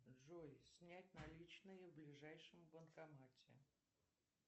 джой снять наличные в ближайшем банкомате